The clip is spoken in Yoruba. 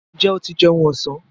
Ǹjẹ́ o ti jẹun ọ̀sán?